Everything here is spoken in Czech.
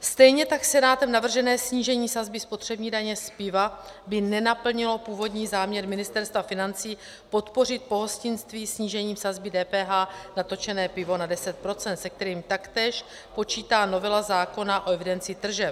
Stejně tak Senátem navržené snížení sazby spotřební daně z piva by nenaplnilo původní záměr Ministerstva financí podpořit pohostinství snížením sazby DPH na točené pivo na 10 %, se kterým taktéž počítá novela zákona o evidenci tržeb.